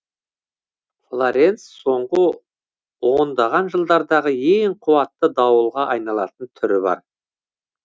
флоренц соңғы ондаған жылдардағы ең қуатты дауылға айналатын түрі бар